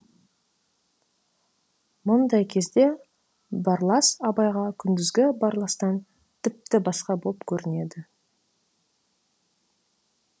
мұндай кезде барлас абайға күндізгі барластан тіпті басқа боп көрінеді